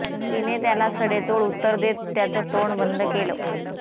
तिने त्याला सडेतोड उत्तर देत त्याचं तोंड बंद केलं